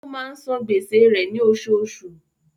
Ó máa ń san gbèsè rẹ̀ ní oṣooṣù.